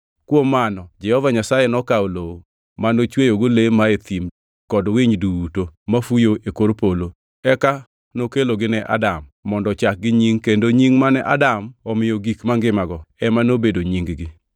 Kuom mano, Jehova Nyasaye nokawo lowo ma ochweyogo le mae thim kod winy duto mafuyo e kor polo. Eka nokelogi ne Adam mondo ochakgi nying kendo nying mane Adam omiyo gik mangimago ema nobedo nying-gi.